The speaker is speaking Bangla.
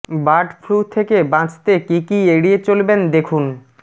বার্ড ফ্লু থেকে বাঁচতে কী কী এড়িয়ে চলবেন দেখুন